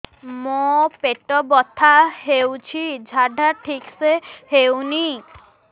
ମୋ ପେଟ ବଥା ହୋଉଛି ଝାଡା ଠିକ ସେ ହେଉନି